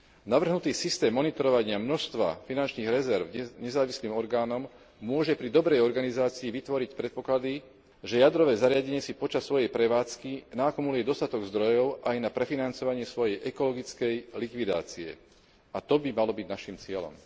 Navrhnutý systém monitorovania množstva finančných rezerv nezávislým orgánom môže pri dobrej organizácii vytvoriť predpoklady, že jadrové zariadenie si počas svojej prevádzky naakumuluje dostatok zdrojov aj na prefinancovanie svojej ekologickej likvidácie, a to by malo byť našim cieľom.